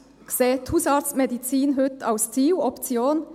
60 Prozent sehen die Hausarztmedizin heute als Ziel oder Option.